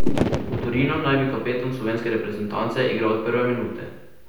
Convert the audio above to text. V Torinu naj bi kapetan slovenske reprezentance igral od prve minute.